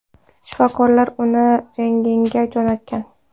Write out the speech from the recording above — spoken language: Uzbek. Shifokorlar uni rentgenga jo‘natgan.